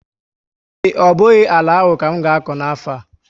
Ee, ọ bụghị àlà áhù ka m ga-akọ n'afo a